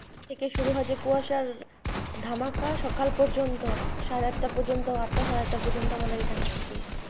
থেকে শুরু হয় কুয়াশার ধামাকা সকাল পর্যন্ত, সাড়ে আটটা পর্যন্ত, আটটা সাড়ে আটটা পর্যন্ত আমাদের এখানে থাকে।